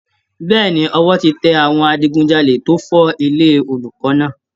Bẹ́ẹ̀ni, ọwọ́ ti tẹ àwọn adigujalè tó fọ́ ilé olùkọ́ náà